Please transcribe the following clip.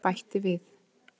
Hermann bætti við.